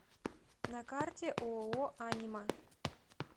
на карте ооо анима